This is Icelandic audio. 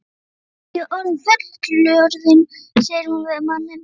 Nú er ég orðin fullorðin, segir hún við manninn.